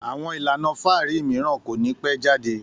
Àwọn ìlànà fáàrí mìíràn kò ní pẹ́ jáde